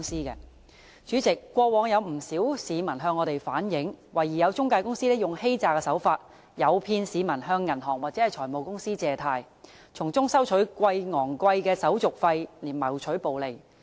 代理主席，過往有不少市民向我們反映，懷疑有中介公司以欺詐手法，誘騙市民向銀行或財務公司借貸，從中收取高昂手續費謀取暴利。